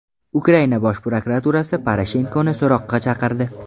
Ukraina bosh prokuraturasi Poroshenkoni so‘roqqa chaqirdi.